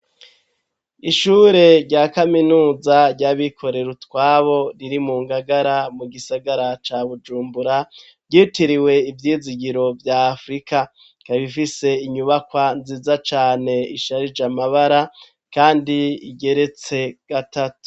Ishure rya kaminuza ry'abikorera utwabo riri mu Ngagara mu gisagara ca Bujumbura ryitiriwe ivyizigiro vya afurika, ikaba ifise inyubakwa nziza cane isharije amabara kandi igeretse gatatu.